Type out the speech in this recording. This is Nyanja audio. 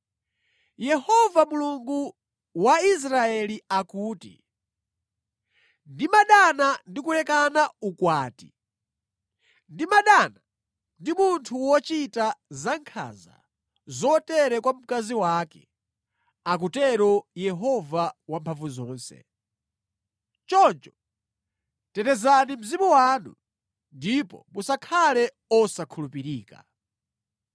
Yehova Mulungu wa Israeli akuti, “Ndimadana ndi kulekana ukwati. Ndimadana ndi munthu wochita zankhanza zotere kwa mkazi wake,” akutero Yehova Wamphamvuzonse. Choncho tetezani mzimu wanu, ndipo musakhale osakhulupirika.